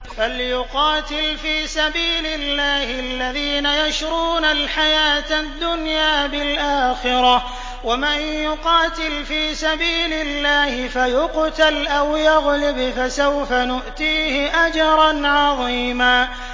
۞ فَلْيُقَاتِلْ فِي سَبِيلِ اللَّهِ الَّذِينَ يَشْرُونَ الْحَيَاةَ الدُّنْيَا بِالْآخِرَةِ ۚ وَمَن يُقَاتِلْ فِي سَبِيلِ اللَّهِ فَيُقْتَلْ أَوْ يَغْلِبْ فَسَوْفَ نُؤْتِيهِ أَجْرًا عَظِيمًا